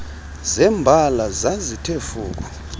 zembala zazithe fuku